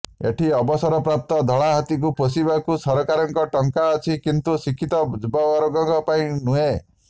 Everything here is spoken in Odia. ଏଠି ଅବସରପ୍ରାପ୍ତ ଧଳା ହାତୀଙ୍କୁ ପୋଷିବାକୁ ସରକାରଙ୍କର ଟଙ୍କା ଅଛି କିନ୍ତୁ ଶିକ୍ଷିତ ଯୁବବର୍ଗଙ୍କ ପାଇଁ ନୁହେଁ